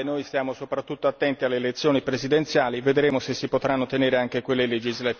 Noi stiamo soprattutto attenti alle elezioni presidenziali, vedremo se si potranno ottenere anche quelle legislative.